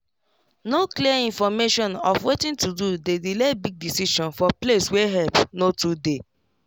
no clear information of watin to do dey delay big decision for place wey help no too dey